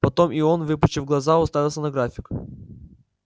потом и он выпучив глаза уставился на график